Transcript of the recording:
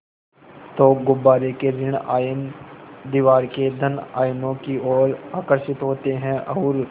तो गुब्बारे के ॠण आयन दीवार के धन आयनों की ओर आकर्षित होते हैं और